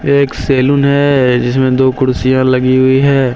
ये एक सैलून है जिसमें दो कुर्सियां लगी हुई है।